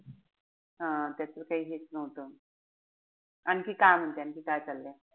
हा त्याच त काई हेच नव्हतं. आणखी काय म्हणते आणखी काय चाललंय?